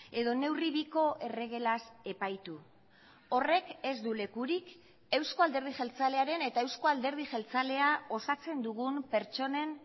edo neurri biko erregelaz epaitu horrek ez du lekurik euzko alderdi jeltzalearen eta euzko alderdi jeltzalea osatzen dugun pertsonen